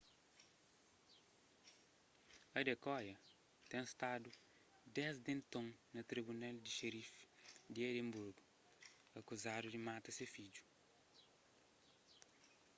adekoya ten stadu desdi enton na tribunal di xerifi di edinburgu akuzadu di mata se fidju